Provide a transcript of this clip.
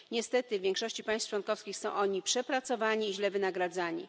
Niestety w większości państw członkowskich są oni przepracowani i źle wynagradzani.